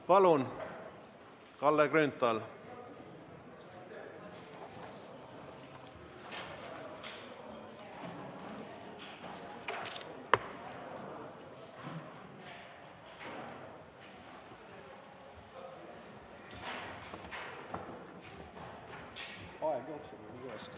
Palun, Kalle Grünthal!